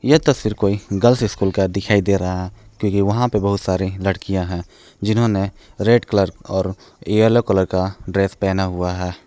यह तस्वीर फिर कोई गर्ल्स स्कूल का दिखाई दे रहा है क्योंकि वहां पे बहुत सारे लड़कियां हैं जिन्होंने रेड कलर और येलो कलर का ड्रेस पहना हुआ है।